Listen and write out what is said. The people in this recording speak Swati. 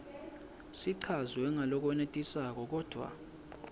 sichazwe ngalokwenetisako kodvwa